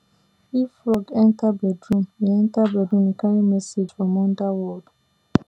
if frog enter bedroom e enter bedroom e carry message from underworld